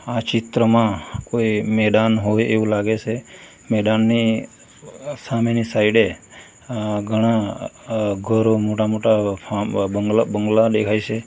આ ચિત્રમાં કોઈ મેદાન હોય એવું લાગે સૈ મેદાનની સામેની સાઇડે અહ ઘણા ઘરો મોટા મોટા બંગલા દેખાય છે.